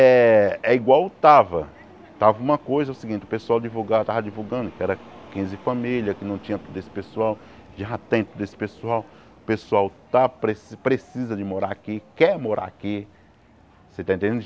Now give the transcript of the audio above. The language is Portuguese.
É é igual estava, estava uma coisa o seguinte, o pessoal divulgava estava divulgando que era quinze famílias, que não tinha todo esse pessoal, já tem todo esse pessoal, o pessoal está presi precisa de morar aqui, quer morar aqui, você está entendendo?